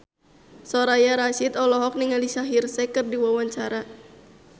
Soraya Rasyid olohok ningali Shaheer Sheikh keur diwawancara